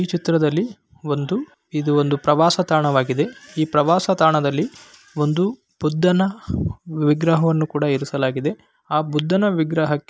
ಈ ಚಿತ್ರದಲ್ಲಿ ಒಂದು ಇದು ಒಂದು ಪ್ರವಾಸ ತಾಣವಾಗಿದೆ ಈ ಪ್ರವಾಸ ತಾಣದಲ್ಲಿ ಒಂದು ಬುದ್ಧನ ವಿಗ್ರಹವನ್ನು ಕೂಡ ಏರಿಸಲಾಗಿದೆ ಆ ಬುದ್ಧನ ವಿಗ್ರಹಕ್ಕೆ --